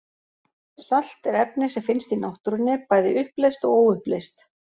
Salt er efni sem finnst í náttúrunni, bæði uppleyst og óuppleyst.